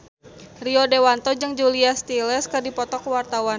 Rio Dewanto jeung Julia Stiles keur dipoto ku wartawan